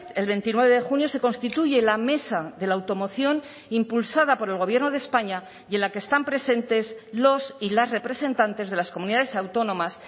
el veintinueve de junio se constituye la mesa de la automoción impulsada por el gobierno de españa y en la que están presentes los y las representantes de las comunidades autónomas